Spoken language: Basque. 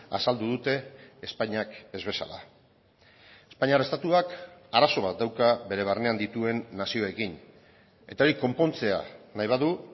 azaldu dute espainiak ez bezala espainiar estatuak arazo bat dauka bere barnean dituen nazioekin eta hori konpontzea nahi badu